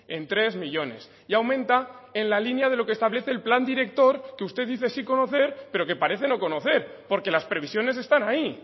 en tres millónes y aumenta en la línea de lo que establece el plan director que usted dice sí conocer pero que parece no conocer porque las previsiones están ahí